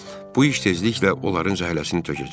Bu iş tezliklə onların zəhləsini tökəcək.